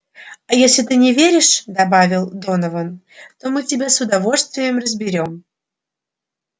а если ты не веришь добавил донован то мы тебя с удовольствием разберём